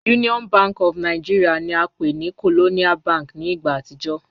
Union Bank of Nigeria ni a npe ni Colonial Bank ni igba atijọ